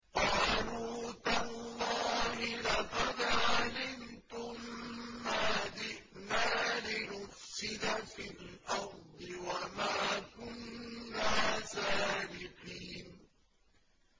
قَالُوا تَاللَّهِ لَقَدْ عَلِمْتُم مَّا جِئْنَا لِنُفْسِدَ فِي الْأَرْضِ وَمَا كُنَّا سَارِقِينَ